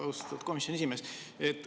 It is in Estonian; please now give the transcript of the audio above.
Austatud komisjoni esimees!